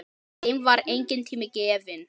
Þeim var enginn tími gefinn.